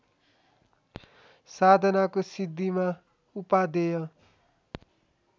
साधनाको सिद्धिमा उपादेय